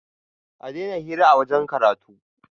a Daina hira a wajen karatu!